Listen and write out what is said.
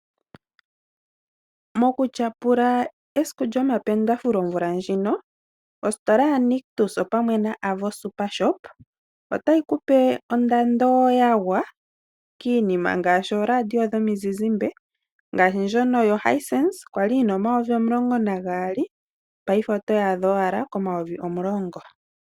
Mokutyapula esiku lyomapendafule omvula ndjino ositola yaNictus opamwe noAVO SuperShop otayi kupe ondando yagwa kiinima ngaashi oradio dhomizizimbe, ngaashi ndjono yoHinsense kwali yina 12 000 payife otoyi adha owala ko10 000.